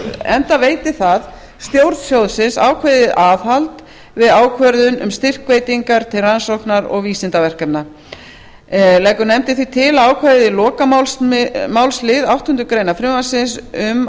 enda veiti það stjórn sjóðsins ákveðið aðhald við ákvörðun um styrkveitingar til rannsóknar og vísindaverkefna leggur nefndin því til að ákvæðið í lokamálslið áttundu greinar frumvarpsins um